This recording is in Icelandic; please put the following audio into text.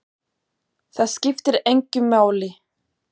Það skiptir engu máli!